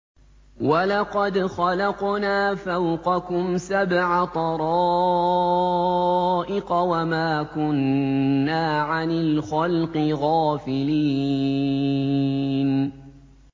وَلَقَدْ خَلَقْنَا فَوْقَكُمْ سَبْعَ طَرَائِقَ وَمَا كُنَّا عَنِ الْخَلْقِ غَافِلِينَ